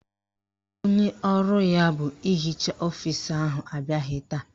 Onye ọrụ ya bụ ịhicha ọfisi ahụ abịaghị taa.